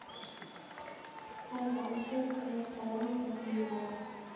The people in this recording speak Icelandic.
Hún var bersýnilega mjög útundir sig í hagnýtum efnum.